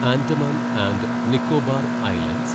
Andaman and Nicobar islands